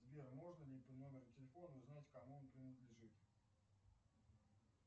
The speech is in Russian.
сбер можно ли по номеру телефона узнать кому он принадлежит